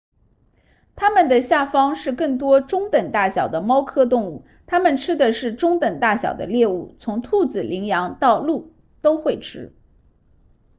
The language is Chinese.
它们的下方是更多中等大小的猫科动物它们吃的是中等大小的猎物从兔子羚羊到鹿都会吃